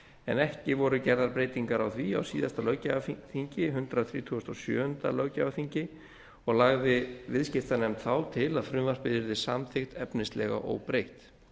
en ekki voru gerðar breytingar á því á síðasta löggjafarþingi hundrað þrítugasta og sjöunda löggjafarþingi og lagði viðskiptanefnd þá til að frumvarpið yrði samþykkt efnislega óbreytt